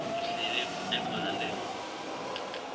ahlele umbhalo ngekutfola